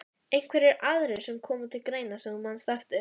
Einhverjir aðrir sem koma til greina sem þú manst eftir?